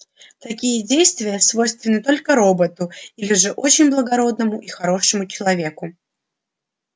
такие действия свойственны только роботу или же очень благородному и хорошему человеку